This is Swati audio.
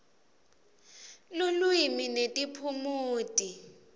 lulwimi netiphumuti